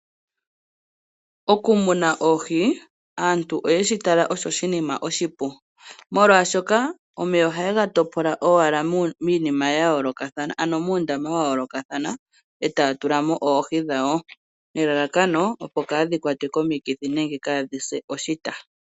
Okumuna oohi, aantu oyeshi tala osho oshinima oshipu molwaashoka omeya ohaya topola owala miinima ya yoolokathana ano muundama wa yoolokathana e taya tula mo oohi dhawo, nelalakano opo kaadhi kwatwe komikithi nenge kaadhi se oshita.